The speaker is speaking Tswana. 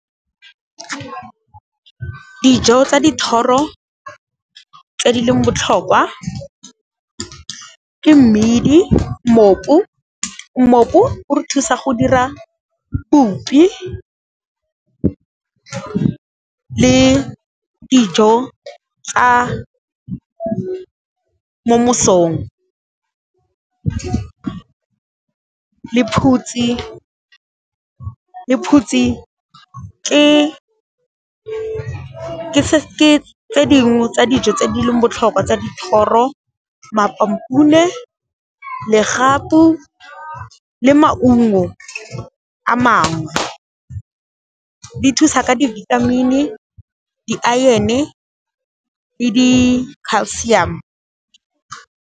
Dijo tsa dithoro tse di leng botlhokwa ke mmidi, mmopu, mmopu o re thusa go dira bupi ke le dijo tsa mo mosong. Lephutsi ke tse dingwe tsa dijo tse di leng botlhokwa tsa dithoro , legapu le maungo a mangwe di thusa ka di-vitamin-i, di-iron-e le di-calcium.